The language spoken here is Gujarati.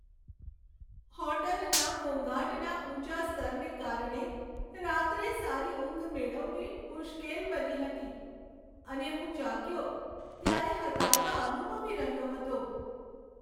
હોટલના ઘોંઘાટના ઊંચા સ્તરને કારણે રાત્રે સારી ઊંઘ મેળવવી મુશ્કેલ બની હતી, અને હું જાગ્યો ત્યારે હતાશા અનુભવી રહ્યો હતો.